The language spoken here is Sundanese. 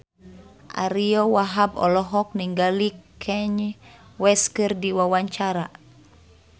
Ariyo Wahab olohok ningali Kanye West keur diwawancara